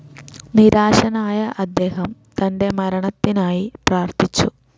നിരാശനായ അദ്ദേഹം തന്റെ മരണത്തിനായി പ്രാർത്ഥിച്ചു.